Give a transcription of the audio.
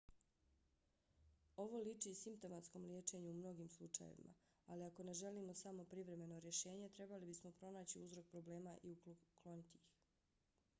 ovo liči simptomatskom liječenju u mnogim slučajevima. ali ako ne želimo samo privremeno rješenje trebali bismo pronaći uzrok problema i ukloniti ih